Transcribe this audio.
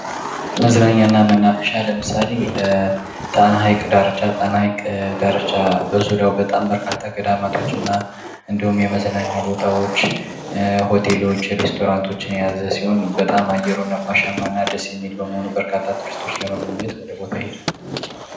መዝናኛ እና መናፈሻ ለምሳሌ ጣና ሀይቅ ዳርቻ ጣና ሀይቅ ዳርቻ፦ በዙሪያው በጣም በርካታ ገዳማቶችና የመዝናኛ ቦታዎች፣ ሆቴሎች ፣ሬስቶራንቶች የያዘ ሲሆን በጣም አየሩ ነፋሻማ እና ደስ የሚል በመሆኑ በጣም ብዙ ቱሪስቶች ወደቦታው ይሄዳሉ።